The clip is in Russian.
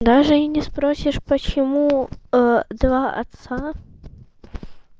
даже и не спросишь почему два отца